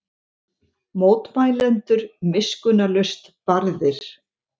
Mótmælendur miskunnarlaust barðir